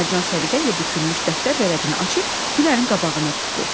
Mərcan səliqə ilə bükülmüş dəftər vərəqinə açıb Gülərin qabağına tutdu.